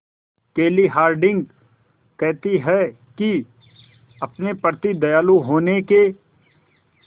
केली हॉर्डिंग कहती हैं कि अपने प्रति दयालु होने के